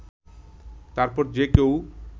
তারপর যেকেউ